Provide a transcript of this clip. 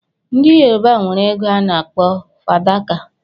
ndi yoruba enwere ego ana akpọ fadaka.